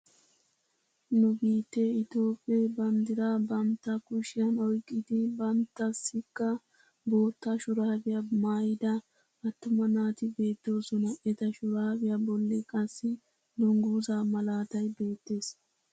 Nu biittee ittophphee banddiraa bantta kushshiyaan oyqqidi banttasikka bootta shuraabiyaa maayida attuma naati bettoosona. eta shuraabiyaa bolli qassi dunguzaa malaatay beettees.